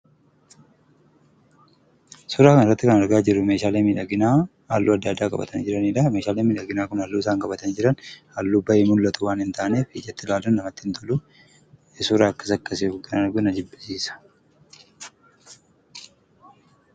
Suuraa kanarratti kan argaa jirru meeshaalee miidhaginaa halluu adda addaa qabatanii jiranidhaa. Meeshaaleen miidhaginaa kun halluun isaan qabatanii jiran halluu ba'ee mul'atu waanin taaneef ijatti laaluun namatti hin toluu. Suuraa akkas akkasii oggaan argu na jibbisiisa.